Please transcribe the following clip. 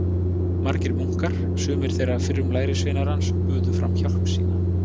Margir munkar, sumir þeirra fyrrum lærisveinar hans, buðu fram hjálp sína.